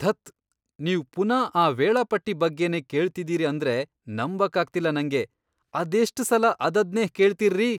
ಧತ್, ನೀವ್ ಪುನಾ ಆ ವೇಳಾಪಟ್ಟಿ ಬಗ್ಗೆನೇ ಕೇಳ್ತಿದೀರಿ ಅಂದ್ರೆ ನಂಬಕ್ಕಾಗ್ತಿಲ್ಲ ನಂಗೆ! ಅದೆಷ್ಟ್ ಸಲ ಅದದ್ನೇ ಕೇಳ್ತೀರ್ರಿ?!